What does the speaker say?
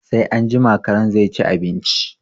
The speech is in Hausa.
Sai anjima karen zai ci abinci